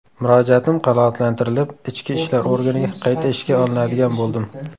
Murojaatim qanoatlantirilib, Ichki ishlar organiga qayta ishga olinadigan bo‘ldim.